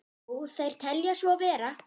Jú, þeir telja svo vera.